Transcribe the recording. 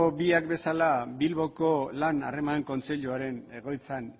biak bezala bilboko lan harreman kontseiluaren egoitzan